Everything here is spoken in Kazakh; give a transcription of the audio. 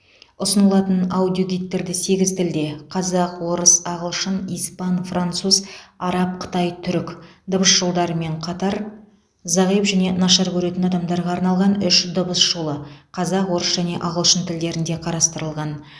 ұсынылатын аудиогидтерде сегіз тілде қазақ орыс ағылшын испан француз араб қытай түрік дыбыс жолдарымен қатар зағип және нашар көретін адамдарға арналған үш дыбыс жолы қазақ орыс және ағылшын тілдерінде қарастырылған